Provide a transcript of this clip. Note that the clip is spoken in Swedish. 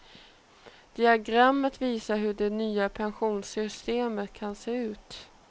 Diagrammet visar hur det nya pensionssystemet kan se ut.